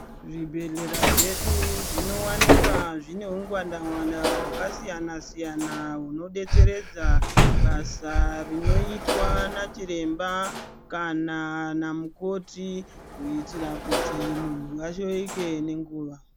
Zvibhedhlera zvedu zvinowanikwa zvine ungwandangwanda hwakasiyanasiyana hunodetseredza basa rinoitwa nachiremba kana namukoti kuitira kuti munhu shaike nenguwa.